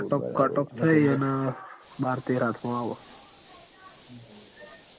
cut off cut off થઇ ન બાર તેર આથ મ આવ